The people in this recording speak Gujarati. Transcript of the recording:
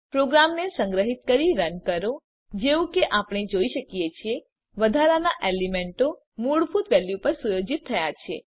પ્રોગ્રામને સંગ્રહીત કરી રન કરો જેવું કે આપણે જોઈ શકીએ છીએ વધારાનાં એલીમેન્તો મૂળભૂત વેલ્યુ પર સુયોજિત થયા છે